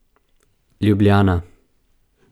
Ljubljana.